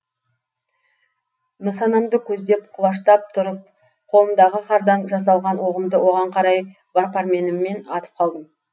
нысанамды көздеп құлаштап тұрып қолымдағы қардан жасалған оғымды оған қарай бар пәрменіммен атып қалдым